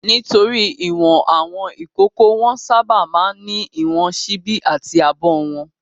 Nítorí ìwọ̀n àwọn ìkókó, wọ́n sábà máa ń ní ìwọ̀n ṣíbí àti abọ́ wọn.